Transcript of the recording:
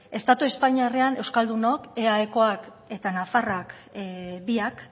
estatu espainiarrean euskaldunok eaekoak eta nafarrak biak